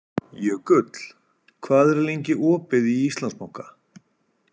Jökull, hvað er lengi opið í Íslandsbanka?